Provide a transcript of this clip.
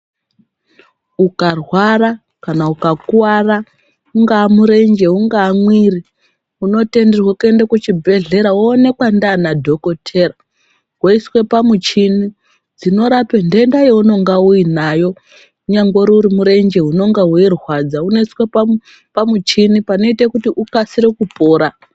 Ukarwara kana uka kuvara unkava murenje ungave mwiri unotenderwa kuenda kuchi bhehlera woonekwa ndana dhokotera woiswe pamwuchini dzino rape ndenda yaunonge unayo nyangwe uri murenje unenge weirwadza unoiswe pamuchini panoita kuti ukasire kupora.